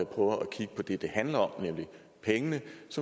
kigge på det det handler om nemlig pengene